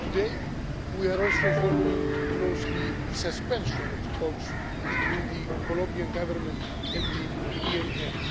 Today, we are also following closely the suspension of talks between the Colombian Government and the ELN,